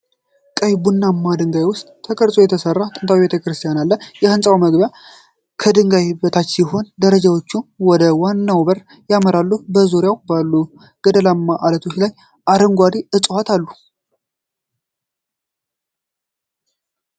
በቀይ ቡናማ ድንጋይ ውስጥ ተቀርጾ የተሠራው ጥንታዊ ቤተ ክርስቲያን አለ። የሕንፃው መግቢያ ከድንጋይ በታች ሲሆን፣ ደረጃዎች ወደ ዋናው በር ያመራሉ። በዙሪያው ባሉ ገደላማ ዓለቶች ላይ አረንጓዴ ዕፅዋት አሉ።